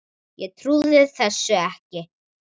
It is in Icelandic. Ég trúði þessu ekki.